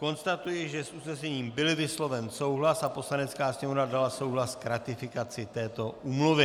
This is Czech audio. Konstatuji, že s usnesením byl vysloven souhlas a Poslanecká sněmovna dala souhlas k ratifikaci této úmluvy.